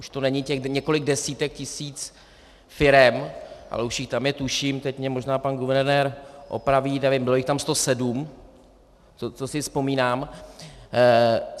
Už to není těch několik desítek tisíc firem, ale už jich tam je, tuším, teď mě možná pan guvernér opraví, nevím, bylo jich tam 107, to si vzpomínám.